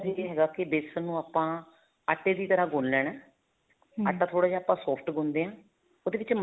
ਇਹ ਹੈਗਾ ਕੀ ਵੇਸਣ ਨੂੰ ਆਪਾਂ ਆਟੇ ਦੀ ਤਰ੍ਹਾਂ ਗੁੰਨ ਲੈਣਾ ਆਟਾ ਥੋੜਾ ਜਾਂ ਆਪਾਂ soft ਗੁੰਨਦੇ ਦੇ ਹਾਂ ਉਹਦੇ ਵਿੱਚ